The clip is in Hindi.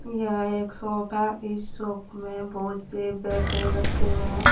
यह एक शॉप है इस शॉप में बहुत से बैटरे रखे हुए हैं।